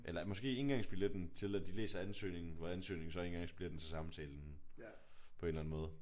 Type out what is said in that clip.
Eller måske indgangsbilletten til at de læser ansøgningen hvor ansøgningen så er indgangsbilletten til samtalen på en eller anden måde